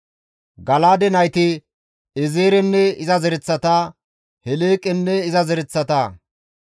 Gala7aade nayti Eezerenne iza zereththata, Heleeqenne iza zereththata,